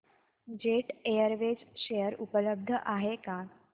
jet Airways share उपलब्ध आहेत का